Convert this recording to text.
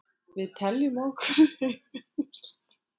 Við teljum okkur eiga ýmislegt inni.